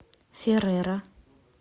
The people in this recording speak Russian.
ферера